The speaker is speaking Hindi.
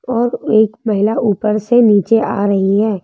और एक महिला ऊपर से नीचे आ रही है।